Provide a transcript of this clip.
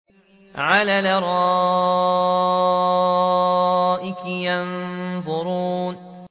عَلَى الْأَرَائِكِ يَنظُرُونَ